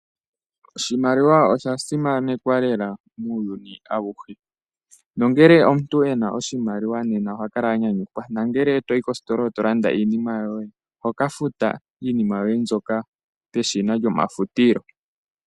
Oshimaliwa osha simanekwa lela muuyuni awuhe nuuna omuntu e na oshimaliwa nena oha kala anyanyuka nuuna to yi kositola e to landa iinima yoye oho ka futa iinima yoye mbyoka peshina lyomafutilo.